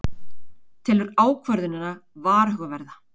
Telur ákvörðunina varhugaverða